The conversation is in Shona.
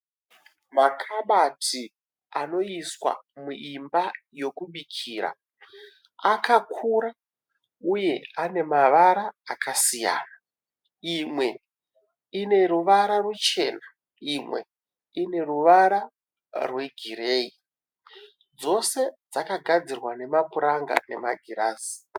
Makabati anoiswa muimba yokubikira akakura uye ane mavara akasiyana. Ane mavara akasiyana. Imwe ine ruvara ruchena imwe ine ruvara rwegireyi. Dzose dzakagadzirwa nemapuranga nemagirazi.